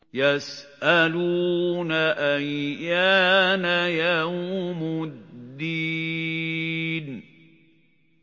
يَسْأَلُونَ أَيَّانَ يَوْمُ الدِّينِ